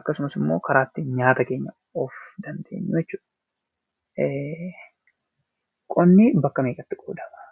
Akkasumas immoo karaa ittiin nyaata keenya of dandeenyuu jechuudha. Qonnii bakka meeqatti qoodama?